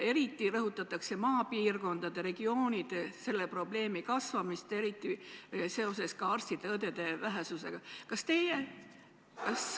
Eriti rõhutatakse maapiirkondades selle probleemi kasvamist arstide ja õdede vähesuse tõttu.